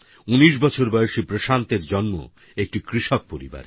১৯ বছর বয়সী প্রশান্তর জন্ম একটি কৃষক পরিবারে